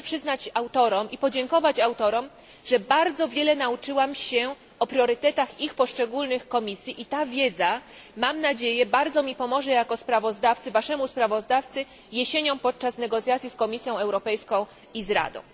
Muszę podziękować autorom i przyznać im, że bardzo wiele nauczyłam się o priorytetach ich poszczególnych komisji i ta wiedza, mam nadzieję, bardzo mi pomoże jako waszemu sprawozdawcy jesienią podczas negocjacji z Komisją Europejską i z Radą.